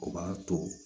O b'a to